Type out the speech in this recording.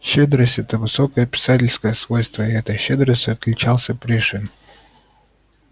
щедрость это высокое писательское свойство и этой щедростью отличался пришвин